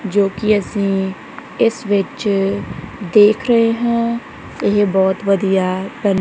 ਜੋ ਕਿ ਅਸੀਂ ਇਸ ਵਿੱਚ ਦੇਖ ਰਹੇ ਹਾਂ ਇਹ ਬਹੁਤ ਵਧੀਆ--